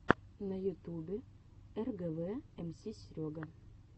на ютубе эргэвэ эмси серега